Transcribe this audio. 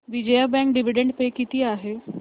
Vijaya bank dividend pay किती आहे